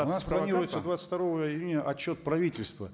планируется двадцать второго июня отчет правительства